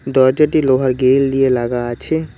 দরজাটি লোহার গ্রিল দিয়ে লাগা আছে।